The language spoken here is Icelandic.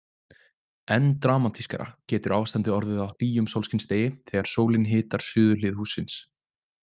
Enn dramatískara getur ástandið orðið á hlýjum sólskinsdegi þegar sólin hitar suðurhlið hússins.